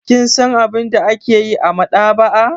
Kin san abin da ake yi a maɗaba'a?